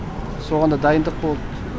соған да дайындық болды